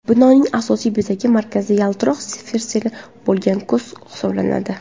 Binoning asosiy bezagi markazida yaltiroq sferasi bo‘lgan ko‘z hisoblanadi.